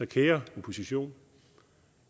kære opposition